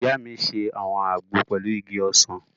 Ìyá mi n ṣe àwọn àgbo pẹ̀lú igi ọsàn